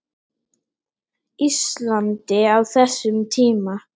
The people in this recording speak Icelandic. Íslandi á þessum tíma.